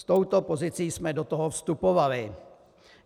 S touto pozicí jsme do toho vstupovali.